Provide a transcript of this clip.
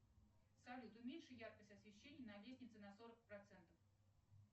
салют уменьши яркость освещения на лестнице на сорок процентов